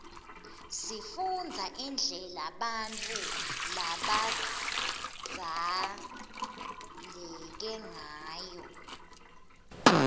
sifundza indlela bautfu labadzaleke ngayo